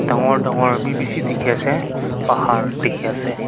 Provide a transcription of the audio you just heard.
dagur dagur bhi bisi dekhi ase pahar dekhi ase.